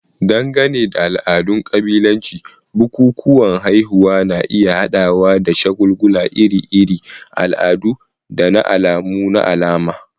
Dangane da al'adun kabilanci, bukukuwan haihuwa na iya haɗawa da shagulgula iri-iri, al'adu, da alamu na alama.